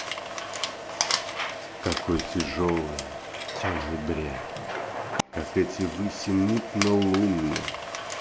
какой тяжёлый тёмный бред как эти выси мутно луны